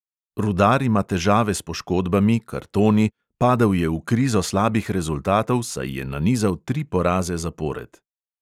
Rudar ima težave s poškodbami, kartoni, padel je v krizo slabih rezultatov, saj je nanizal tri poraze zapored.